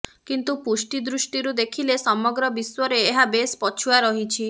କିନ୍ତୁ ପୁଷ୍ଟି ଦୃଷ୍ଟିରୁ ଦେଖିଲେ ସମଗ୍ର ବିଶ୍ୱରେ ଏହା ବେଶ୍ ପଛୁଆ ରହିଛି